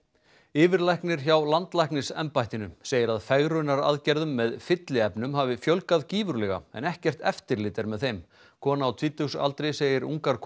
yfirlæknir hjá landlæknisembættinu segir að fegrunaraðgerðum með fylliefnum hafi fjölgað gífurlega en ekkert eftirlit er með þeim kona á tvítugsaldri segir ungar